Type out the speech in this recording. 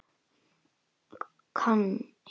Hann hver?